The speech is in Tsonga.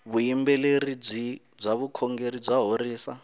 vuyimberi bya vukhongeri ya horisa